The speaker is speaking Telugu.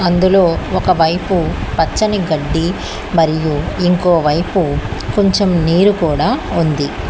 అందులో ఒకవైపు పచ్చని గడ్డి మరియు ఇంకోవైపు కొంచెం నీరు కూడా ఉంది.